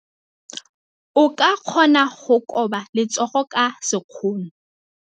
O ka kgona go koba letsogo ka sekgono.